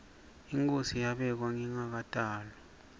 inkhosi yabekwa ngingakatalwa